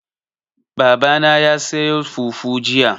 Baba na ya sayo fufu jiya.